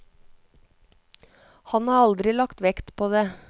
Han har aldri lagt vekt på det.